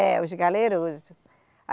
É, os galerosos.